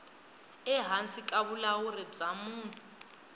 ehansi ka vulawuri bya munhu